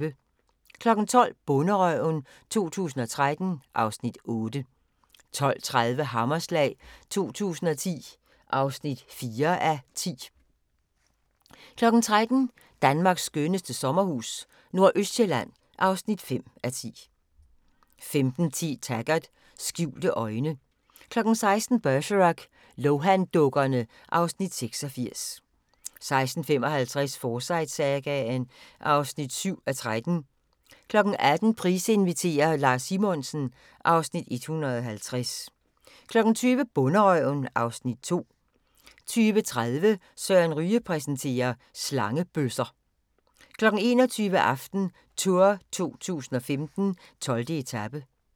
12:00: Bonderøven 2013 (Afs. 8) 12:30: Hammerslag 2010 (4:10) 13:00: Danmarks skønneste sommerhus - nordøstsjælland (5:10) 15:10: Taggart: Skjulte øjne 16:00: Bergerac: Lohan-dukkerne (Afs. 86) 16:55: Forsyte-sagaen (7:13) 18:00: Price inviterer - Lars Simonsen (Afs. 150) 20:00: Bonderøven (Afs. 2) 20:30: Søren Ryge præsenterer: Slangebøsser 21:00: AftenTour 2015: 12. etape